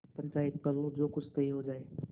पंचायत कर लो जो कुछ तय हो जाय